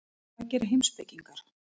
Hvað gera heimspekingar?